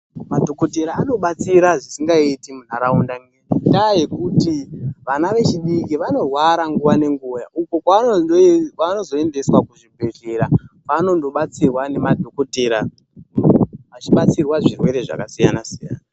Madhokothera anobatsira zvisingaiti munharaunda, ngendaa yekuti vana vechidiki vanorwara nguwa nenguwa, uko kwevanozoendeswa kuzvibhedhlera kwenanondobatsira nemadhokothera, vachibatsirwa zvirwere zvakasiyana siyana.